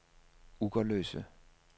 Ugerløse